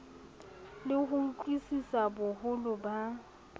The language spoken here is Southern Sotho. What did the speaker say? le ho utlwisisa boholo ba